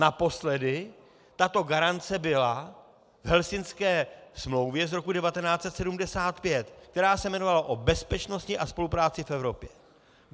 Naposledy tato garance byla v Helsinské smlouvě z roku 1975, která se jmenovala o bezpečnosti a spolupráci v Evropě.